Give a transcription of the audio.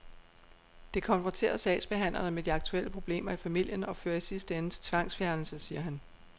Det konfronterer sagsbehandlerne med de aktuelle problemer i familien og fører i sidste ende til tvangsfjernelse, siger han.